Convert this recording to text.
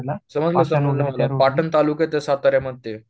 समजलं समजलं मला पाटण तालुक्यात आहे साताऱ्यामध्ये